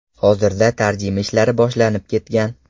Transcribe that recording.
Hozirda tarjima ishlari boshlanib ketgan.